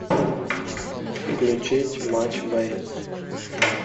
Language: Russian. включить матч боец